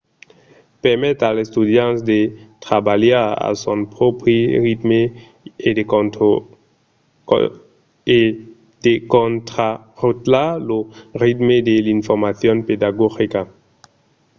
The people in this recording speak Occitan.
permet als estudiants de trabalhar a son pròpri ritme e de contrarotlar lo ritme de l’informacion pedagogica